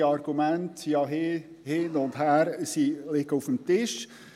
die Argumente sind ja hin- und hergegangen und liegen auf dem Tisch.